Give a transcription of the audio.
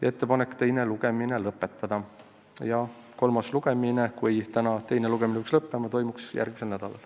On ettepanek teine lugemine lõpetada ja kui täna teine lugemine peaks lõppema, siis kolmas lugemine võiks toimuda järgmisel nädalal.